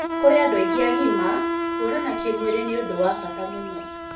Kũrĩ andũ aingĩ agima, kũonana kĩmwĩrĩ nĩ ũndũ wa bata mũno.